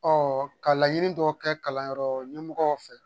ka laɲini dɔw kɛ kalanyɔrɔ ɲɛmɔgɔw fɛ